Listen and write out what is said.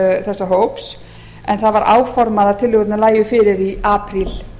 þessa hóps en það var áformað að tillögurnar lægju fyrir í apríl